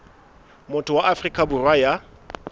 motho wa afrika borwa ya